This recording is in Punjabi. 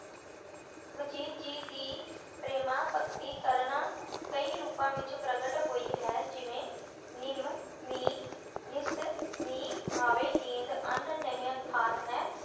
ਵਜੀਦ ਜੀ ਦੀ ਪ੍ਰੇਮਾ ਭਗਤੀ ਕਰਨ ਕਈ ਰੂਪਾਂ ਵਿੱਚ ਪ੍ਰਗਟ ਹੋਈ ਹੈ ਜਿਵੇਂ- ਨਿਮ ਨੀਹ ਨਿਸ ਨੀਹ ਆਵੇ ਨੀਂਦ, ਅੰਨ ਨਹਿੰ ਖਾਤ ਹੈ।